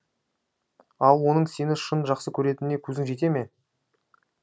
ал оның сені шын жақсы көретініне көзің жете ме